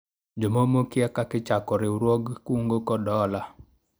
jomomo okia kaka ichako riwruog kungo kod hola